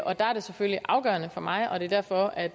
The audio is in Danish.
og der er det selvfølgelig afgørende for mig og det er derfor at